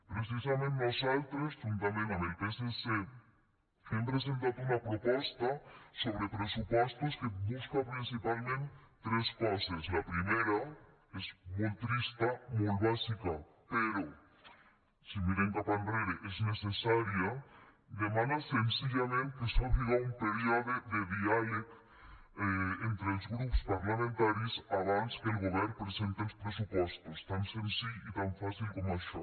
precisament nosaltres juntament amb el psc hem presentat una proposta sobre pressupostos que busca principalment tres coses la primera és molt trista molt bàsica però si mirem cap enrere és necessària demana senzillament que s’obra un període de diàleg entre els grups parlamentaris abans que el govern presente els pressupostos tan senzill i tan fàcil com això